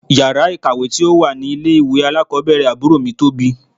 Yàrá ìkàwé tí ó wà ní ilé ìwé alákọ̀ọ́bẹ̀rẹ̀ àbúrò mi tóbi.